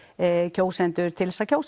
kjósendur til að kjósa